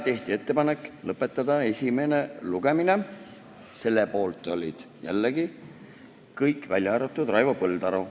Tehti ettepanek lõpetada esimene lugemine – selle poolt olid jällegi kõik, välja arvatud Raivo Põldaru.